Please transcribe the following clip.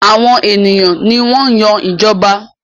Àwọn ènìyàn ní wan Yàn ìjọba